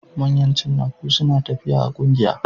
Manyan cinnaku sunatafiya a kungiya